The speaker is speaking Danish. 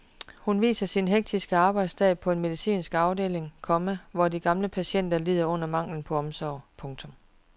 Hun viser sin hektiske arbejdsdag på en medicinsk afdeling, komma hvor de gamle patienter lider under manglen på omsorg. punktum